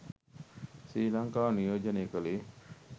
ශ්‍රී ලංකාව නියෝජනය කළේ